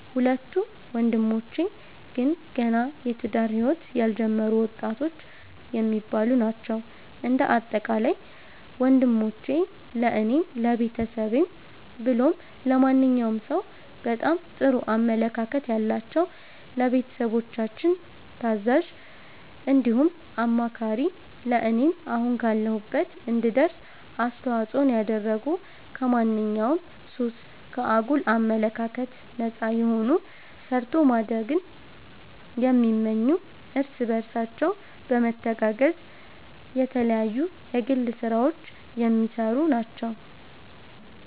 ሁለቱ ወንድሞቼ ግን ገና የትዳር ህይወት ያልጀመሩ ወጣቶች የሚባሉ ናቸዉ። እንደ አጠቃላይ ወንሞቼ ለኔም ለቤተሰብም ብሎም ለማንኛዉም ሰዉ በጣም ጥሩ አመለካከት ያላቸዉ፣ ለቤተሰቦቻችን ታዛዥ እንዲሁም አማካሪ ለኔም አሁን ካለሁበት እንድደርስ አስተዋፅኦን ያደረጉ ከማንኛዉም ሱስ፣ ከአጉል አመለካከት ነፃ የሆኑ ሰርቶ ማደግን የሚመኙ እርስ በርሳቸው በመተጋገዝ የተለያዩ የግል ስራዎች የሚሰሩ ናቸዉ።